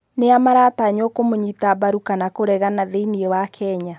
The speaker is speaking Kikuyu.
Nĩa maratanywo kũmunyita mbaru kana kũregana thĩini wa Kenya